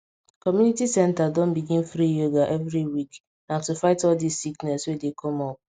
community center don begin free yoga every week na to fight all this sickness wey dey come up